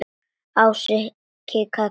Ási kinkaði kolli.